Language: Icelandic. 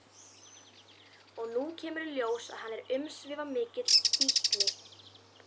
Og nú kemur í ljós að hann er umsvifamikill fíkni